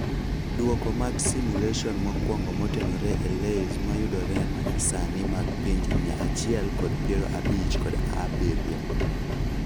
Duoko mag simulation mokwongo motenore e LAYS mayudore manyasani mag pinje mia achiel kod piero abich kod aobirio.